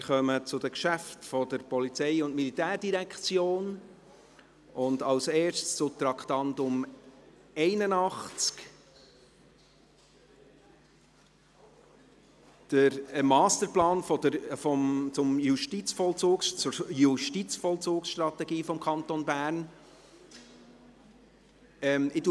Wir kommen zu den Geschäften der POM und als Erstes zum Traktandum 81, dem Masterplan zur Justizvollzugsstrategie des Kantons Bern (JVS).